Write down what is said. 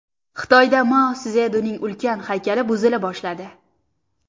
Xitoyda Mao Szedunning ulkan haykali buzila boshladi.